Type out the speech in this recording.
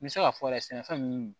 N bɛ se k'a fɔ yɛrɛ sɛnɛfɛn min